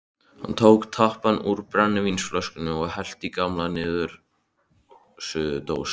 Hann tók tappann úr brennivínsflösku og hellti í gamla niðursuðudós.